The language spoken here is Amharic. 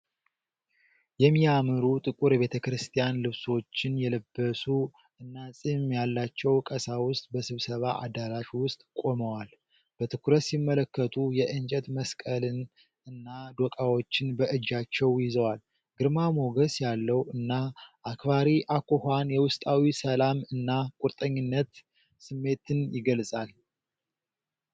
የሚያምሩ ጥቁር የቤተ ክርስቲያን ልብሶችን የለበሱ እና ጺም ያላቸው ቀሳውስት በስብሰባ አዳራሽ ውስጥ ቆመዋል። በትኩረት ሲመለከቱ የእንጨት መስቀልን እና ዶቃዎችን በእጃቸው ይዘዋል። ግርማ ሞገስ ያለው እና አክባሪ አኳኋን የውስጣዊ ሰላም እና ቁርጠኝነት ስሜትን ይገልጻል።